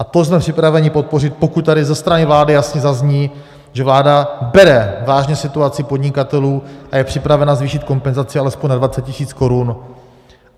A to jsme připraveni podpořit, pokud tady ze strany vlády jasně zazní, že vláda bere vážně situaci podnikatelů a je připravena zvýšit kompenzaci alespoň na 20 tisíc korun.